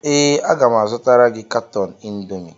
Ee, aga m azụtara gị katọn Indomi